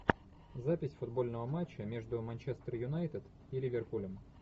запись футбольного матча между манчестер юнайтед и ливерпулем